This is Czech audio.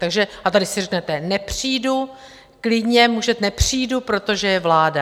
Takže - a tady si řeknete, nepřijdu, klidně může, nepřijdu, protože je vláda.